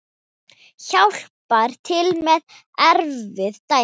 Hjálpar til með erfið dæmi.